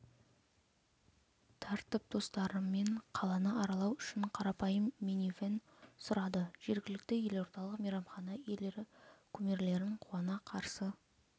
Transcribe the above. тартып достарымен қаланы аралау үшін қарапайым минивэн сұрады жергілікті елордалық мейрамхана иелері кумирлерін қуана қарсы